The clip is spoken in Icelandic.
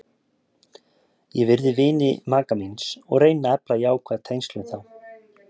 Ég virði vini maka míns og reyni að efla jákvæð tengsl við þá.